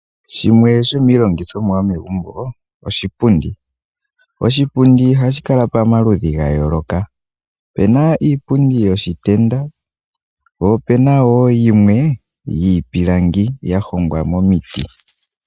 Shimwe shomiilongithomwa yomegumbo, oshipundi. Oshipundi ohashi kala pamaludhi ga yooloka, opuna iipundi yiitenda, po opuna woo yimwe yiipilangi ya hongwa momiti.